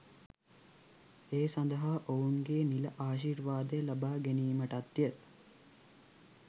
ඒ සඳහා ඔවුන්ගේ නිල ආශිර්වාදය ලබා ගැනීමටත්ය.